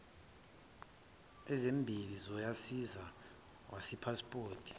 ezimbili zosayizi wepasipoti